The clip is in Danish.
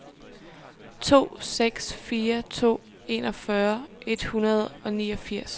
to seks fire to enogfyrre et hundrede og niogfirs